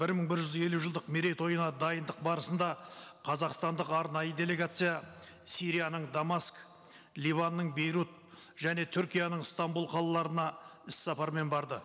бір мың бір жүз елу жылдық мейретойына дайындық барысында қазақстандық арнайы делегация сирияның дамаск ливанның бейрут және түркияның стамбул қалаларына іс сапармен барды